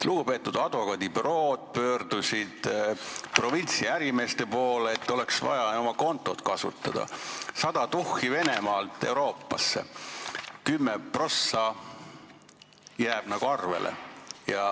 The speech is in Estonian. Lugupeetud advokaadibürood pöördusid provintsiärimeeste poole, et neil oleks vaja oma kontot kasutada: sada tuhat kanda Venemaalt Euroopasse ja kümme protsenti jääb nagu arvele.